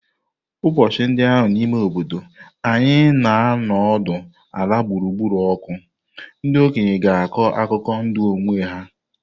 Ụbọchị ndị ahụ n'ime obodo anyị na-anọdụ ala gburugburu ọkụ, ndị okenye ga-akọ akụkọ ndụ onwe ha.